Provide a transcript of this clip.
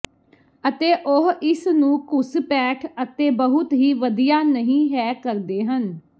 ਅਤੇ ਉਹ ਇਸ ਨੂੰ ਘੁਸਪੈਠ ਅਤੇ ਬਹੁਤ ਹੀ ਵਧੀਆ ਨਹੀ ਹੈ ਕਰਦੇ ਹਨ